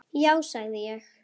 Já sagði ég.